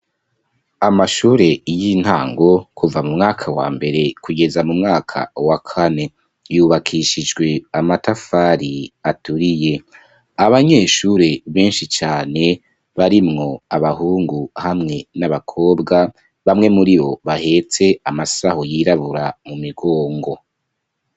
Amashure y'intango, kuva mu mwaka wa mbere kugeza mu mwaka wa kane, yubakishijwe amatafari aturiye; abanyeshure benshi cane, barimwo abahungu hamwe n'abakobwa, bamwe muri bo, bahetse amasaho yirabura mu migongo.